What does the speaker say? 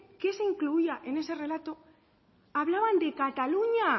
qué se incluía en ese relato hablaban de cataluña